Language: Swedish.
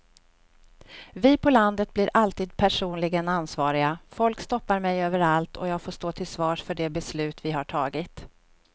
Vi på landet blir alltid personligen ansvariga, folk stoppar mig överallt och jag får stå till svars för de beslut vi har tagit.